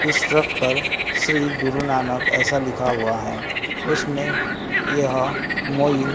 उस ट्रक पर श्री गुरु नानक ऐसा लिखा हुआ है उसमें यह मोई--